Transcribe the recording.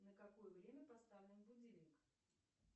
на какое время поставлен будильник